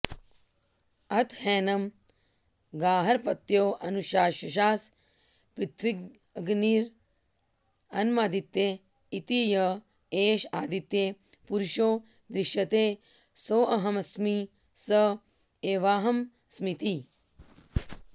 अथ हैनं गार्हपत्योऽनुशशास पृथिव्यग्निरन्नमादित्य इति य एष आदित्ये पुरुषो दृश्यते सोऽहमस्मि स एवाहमस्मीति